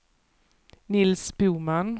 Nils Boman